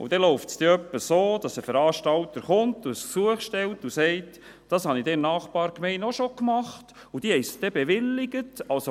– Dann läuft es etwa so ab, dass ein Veranstalter kommt und ein Gesuch stellt und sagt, er habe dies in der Nachbargemeinde auch schon gemacht, und dort sei es bewilligt worden.